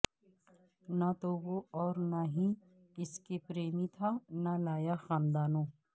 نہ تو وہ اور نہ ہی اس کے پریمی تھا نہ لایا خاندانوں